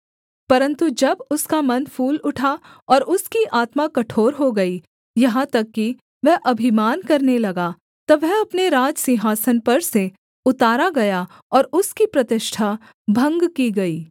परन्तु जब उसका मन फूल उठा और उसकी आत्मा कठोर हो गई यहाँ तक कि वह अभिमान करने लगा तब वह अपने राजसिंहासन पर से उतारा गया और उसकी प्रतिष्ठा भंग की गई